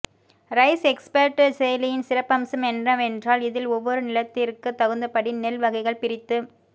rice expert செயலியின் சிறப்பம்சம் என்னவென்றால் இதில் ஒவ்வொரு நிலத்திற்க தகுந்தபடி நெல் வகைகள் பிரித்துத்